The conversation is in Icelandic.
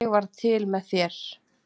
Ég varð til með þér.